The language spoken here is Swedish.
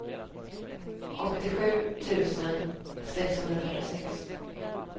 åttiosju tusen sexhundrafyrtiosex